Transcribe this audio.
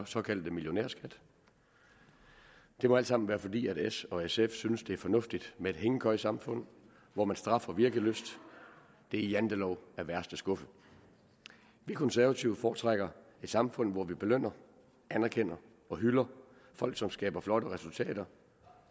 såkaldte millionærskat det må alt sammen være fordi s og sf synes at det er fornuftigt med et hængekøjesamfund hvor man straffer virkelyst det er jantelov af værste skuffe vi konservative foretrækker et samfund hvor vi belønner anerkender og hylder folk som skaber flotte resultater